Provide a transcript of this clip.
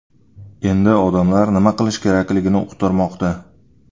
Endi odamlar nima qilish kerakligini uqtirmoqda.